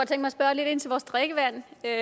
er